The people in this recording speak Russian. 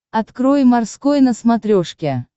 открой морской на смотрешке